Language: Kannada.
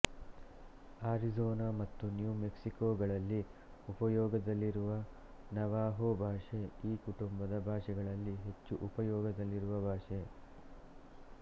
ಆರಿಜೋನ ಮತ್ತು ನ್ಯೂ ಮೆಕ್ಸಿಕೊಗಳಲ್ಲಿ ಉಪಯೋಗದಲ್ಲಿರುವ ನವಾಹೊ ಭಾಷೆ ಈ ಕುಟುಂಬದ ಭಾಷೆಗಳಲ್ಲಿ ಹೆಚ್ಚು ಉಪಯೋಗದಲ್ಲಿರುವ ಭಾಷೆ